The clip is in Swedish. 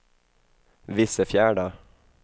Vissefjärda